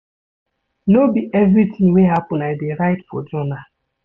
No be everytin wey happen I dey write for journal.